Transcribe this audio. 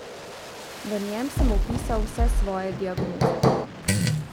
V njem sem opisal vse svoje diagnoze.